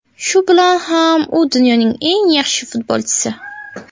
Shu bilan ham u dunyoning eng yaxshi futbolchisi.